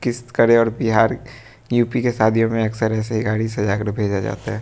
Bihar UP के शादियों में अक्सर ऐसी गाड़ी सजाकर भेजा जाता है।